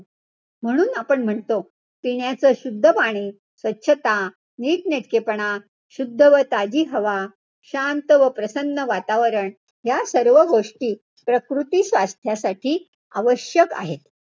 म्हणून आपण म्हणतो, पिण्याचं शुद्ध पाणी, स्वच्छता, नीटनेटकेपणा, शुद्ध व ताजी हवा, शांत व प्रसन्न वातावरण ह्या सर्व गोष्टी प्रकृती स्वास्थ्यासाठी आवश्यक आहे.